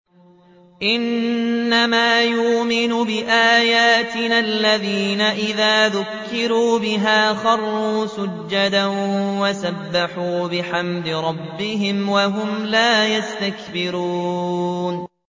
إِنَّمَا يُؤْمِنُ بِآيَاتِنَا الَّذِينَ إِذَا ذُكِّرُوا بِهَا خَرُّوا سُجَّدًا وَسَبَّحُوا بِحَمْدِ رَبِّهِمْ وَهُمْ لَا يَسْتَكْبِرُونَ ۩